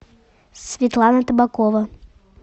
светлана табакова